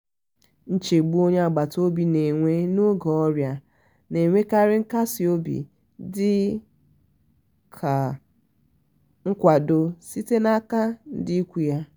nchegbu onye agbata obi na-enwe n'oge ọrịa na-enwekari nkasi obi dị ka nkwado sitere n'aka ndị ikwu ya.